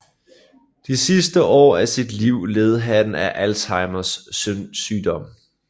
De sidste år af sit liv led han af Alzheimers sygdom